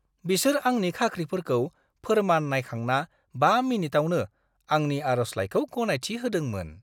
बिसोर आंनि खाख्रिफोरखौ फोर्मान नायखांना 5 मिनिटावनो आंनि आर'जलाइखौ गनायथि होदोंमोन।